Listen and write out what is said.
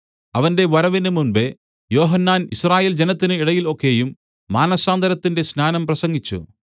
അവന്റെ വരവിന് മുമ്പെ യോഹന്നാൻ യിസ്രായേൽ ജനത്തിന് ഇടയിൽ ഒക്കെയും മാനസാന്തരത്തിന്റെ സ്നാനം പ്രസംഗിച്ചു